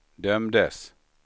dömdes